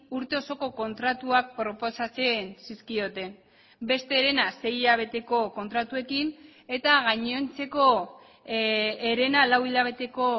urte osoko kontratuak proposatzen zizkioten beste herena sei hilabeteko kontratuekin eta gainontzeko herena lau hilabeteko